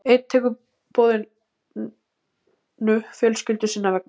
Einn tekur boðinu fjölskyldu sinnar vegna.